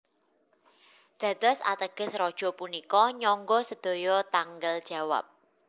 Dados ateges Raja punika nyangga sedaya tanggel jawab